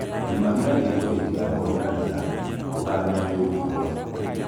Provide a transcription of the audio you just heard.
rĩmagĩra gĩĩto gĩtĩgakorũo na rĩa. Gũthamĩa mĩũngũrũa